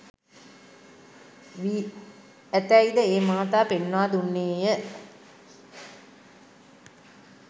වී ඇතැයි ද ඒ මහතා පෙන්වා දුන්නේය